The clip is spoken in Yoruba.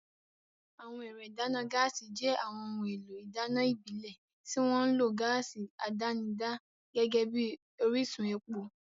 Àwọn ẹ̀rọ ìdáná gáàsì jẹ́ àwọn ohun èlò ìdáná ìbílẹ̀ tí wọ́n ń lo gáàsì àdánidá gẹ́gẹ́ bí orísun epo.